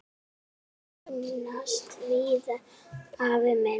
Verkin leynast víða, afi minn.